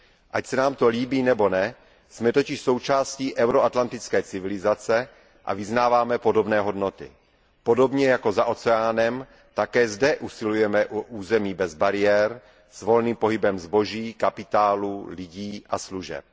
Ať se nám to líbí nebo ne, jsme totiž součástí euroatlantické civilizace a vyznáváme podobné hodnoty. Podobně jako za oceánem také zde usilujeme o území bez bariér s volným pohybem zboží, kapitálu, lidí a služeb.